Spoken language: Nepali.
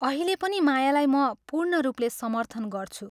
अहिले पनि मायालाई म पूर्णरूपले समर्थन गर्छु।